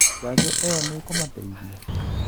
Njanjo ĩyo nĩĩkũmateithia?